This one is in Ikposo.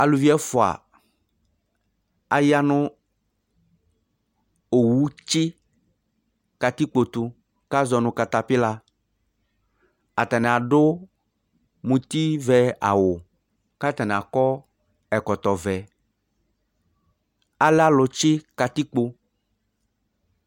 aluvi ɛvɔa, aɣa nu owu tʒi katipko tu kazɔnu katapila atani adu muti vɛ awu katani akɔ ɛkɔtɔ vɛ alɛ alu tʒi katikpo